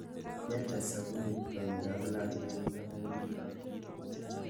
Kende sabunit konyekab lakwet amune?